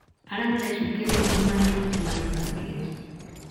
Arĩa marecukĩrwo ungumania nĩmathitangĩtwo